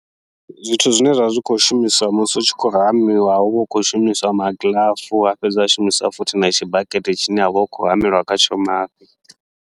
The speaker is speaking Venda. Zwithu zwine zwa vha zwi khou shumiswa musi hu tshi khou hamiwa, huvha hu tshi khou shumiswa magiḽafu ha fhedza ha shumiswa futhi na tshibakete tshine havha hu khou hamelwa khatsho mafhi.